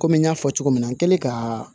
Komi n y'a fɔ cogo min na n kɛlen ka